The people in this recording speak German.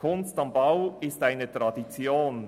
«Kunst am Bau» ist eine Tradition.